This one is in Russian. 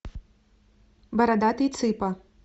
бородатый цыпа